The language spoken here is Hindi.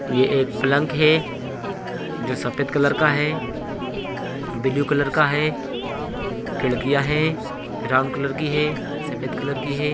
एक अस्पताल में एक आंतरिक रोगी कक्ष के सामने--